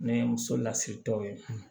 Ne ye muso lasiritɔ ye